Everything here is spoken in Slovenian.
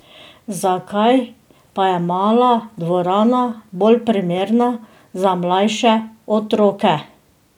Zakaj pa je mala dvorana bolj primerna za mlajše otroke?